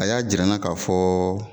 A y'a jira n na ka fɔ